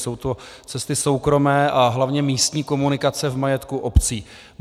Jsou to cesty soukromé a hlavně místní komunikace v majetku obcí.